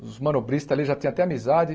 Os manobristas ali já tinham até amizade.